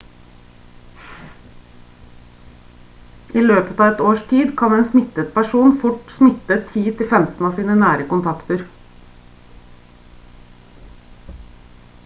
i løpet av ett års tid kan en smittet person fort smitte 10 til 15 av sine nære kontakter